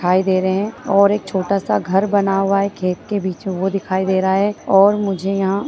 दिखाई दे रहे है और एक छोटा सा घर बना हुआ है खेत के बीच वो दिखाई दे रहा है और मुझे यहाँ --